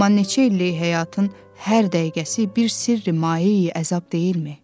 Amma neçə illik həyatın hər dəqiqəsi bir sirri mayeyi əzab deyilmi?